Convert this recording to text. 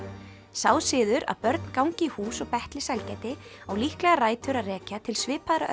sá siður að börn gangi í hús og betli sælgæti á líklega rætur að rekja til svipaðra